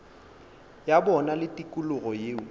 ya bona le tikologo yeo